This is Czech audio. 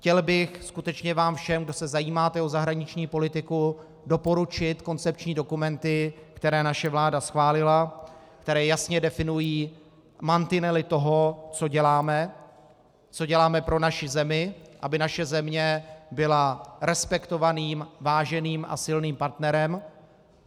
Chtěl bych skutečně vám všem, kdo se zajímáte o zahraniční politiku, doporučit koncepční dokumenty, které naše vláda schválila, které jasně definují mantinely toho, co děláme, co děláme pro naši zemi, aby naše země byla respektovaným, váženým a silným partnerem.